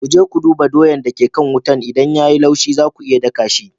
Ku je ku duba doyan da ke kan wuta idan ya yi laushi za ku iya daka shi.